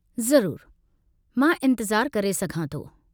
ज़रूरु। मां इंतिज़ारु करे सघां थो।